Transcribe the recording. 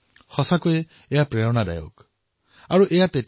এই সংবেদনশীলতা প্ৰেৰণাদায়ী হব পাৰে